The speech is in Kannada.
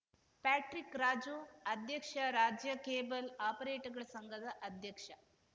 ಪ್ಯಾಟ್ರಿಕ್‌ ರಾಜು ಅಧ್ಯಕ್ಷ ರಾಜ್ಯ ಕೇಬಲ್‌ ಆಪರೇಟರ್‌ಗಳ ಸಂಘದ ಅಧ್ಯಕ್ಷ